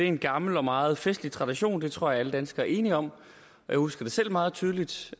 en gammel og meget festlig tradition det tror jeg alle danskere er enige om og jeg husker det selv meget tydeligt